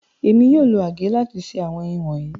Émi yóò lo àgè lati se àwọn èyin wọnyi.